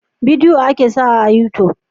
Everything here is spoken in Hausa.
Bidiyo a ke sawa a yutub